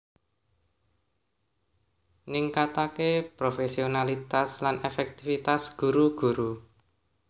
ningkataké profésionalitas lan èfèktifitas guru guru